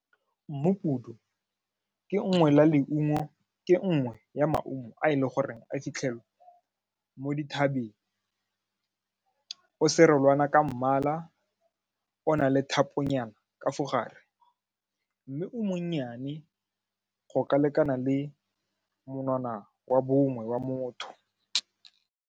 Mmupudu ke nngwe la leungo ke nngwe ya maungo a e leng gore a fitlhelwa mo dithabeng serolwana ka mmala, o na le thapo nyana ka mo gare mme o monnyane go ka lekana le monwana wa bongwe wa motho.